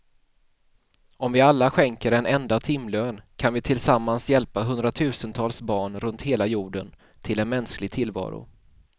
Om vi alla skänker en enda timlön kan vi tillsammans hjälpa hundratusentals barn runt hela jorden till en mänsklig tillvaro.